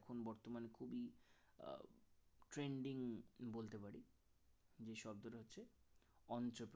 trending বলতে পারি যে শব্দটা হচ্ছে অঞ্চত